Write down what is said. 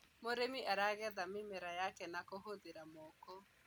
mũrĩmi aragetha mĩmera yake na kuhuthira moko